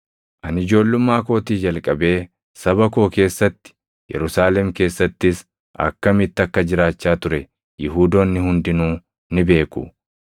“Ani ijoollummaa kootii jalqabee saba koo keessatti, Yerusaalem keessattis akkamitti akka jiraachaa ture Yihuudoonni hundinuu ni beeku.